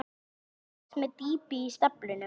Hallinn vex með dýpi í staflanum.